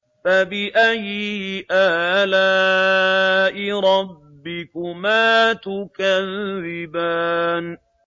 فَبِأَيِّ آلَاءِ رَبِّكُمَا تُكَذِّبَانِ